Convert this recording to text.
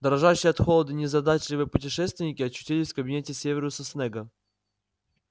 дрожащие от холода незадачливые путешественники очутились в кабинете северуса снегга